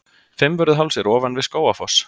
Fimmvörðuháls er ofan við Skógafoss.